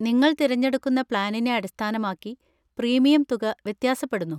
നിങ്ങൾ തിരഞ്ഞെടുക്കുന്ന പ്ലാനിനെ അടിസ്ഥാനമാക്കി പ്രീമിയം തുക വ്യത്യാസപ്പെടുന്നു.